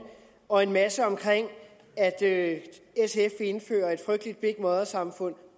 og en masse om at sf vil indføre et frygteligt big mother samfund